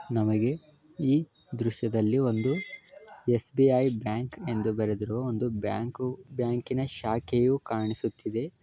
ನಮಗೆ ಈ ದ್ರಶ್ಯದಲ್ಲಿ ಒಂದು ಎಸ್- ಬಿ _ಐ ಬ್ಯಾಂಕ್ ಏಂದು ಬರೆದಿರುವ ಒಂದು ಬ್ಯಾಂಕು ಬ್ಯಾಂಕಿನ ಶಾಖೆಯೂ ಕಾಣಿಸುತ್ತಿದೆ.